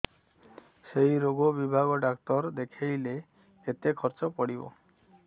ସେଇ ରୋଗ ବିଭାଗ ଡ଼ାକ୍ତର ଦେଖେଇଲେ କେତେ ଖର୍ଚ୍ଚ ପଡିବ